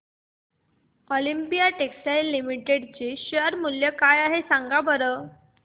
Olympia textiles limited चे share मूल्य काय आहे सांगा बरं